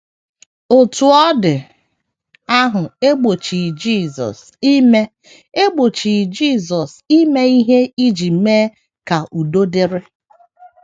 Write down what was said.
Otú ọ dị ,ahụ egbochighị Jesus ime egbochighị Jesus ime ihe iji mee ka udo dịrị.